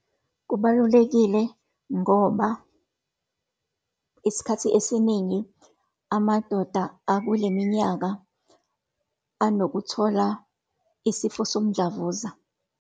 Kubalulekile ngoba, isikhathi esiningi amadoda akuleminyaka anokuthola isifo somdlavuza.